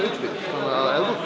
að ef þú